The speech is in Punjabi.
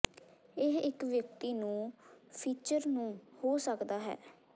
ਇਹ ਇੱਕ ਵਿਅਕਤੀ ਨੂੰ ਫੀਚਰ ਨੂੰ ਹੋ ਸਕਦਾ ਹੈ